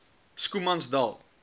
schoemansdal